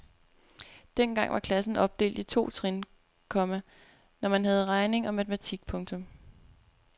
Dengang var klassen opdelt i to trin, komma når man havde regning og matematik. punktum